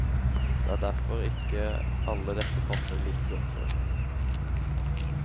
Det er derfor ikke alle dette passer like godt for.